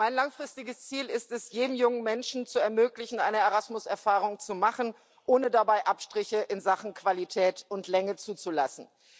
Mein langfristiges Ziel ist es, jedem jungen Menschen zu ermöglichen, eine Erasmus Erfahrung zu machen, ohne dabei Abstriche in Sachen Qualität und Länge zuzulassen.